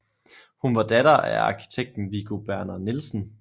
Hun var datter af arkitekten Viggo Berner Nielsen